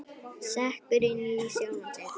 Sekkur inn í sjálfan sig.